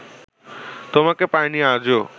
তোমাকে পাইনি আজো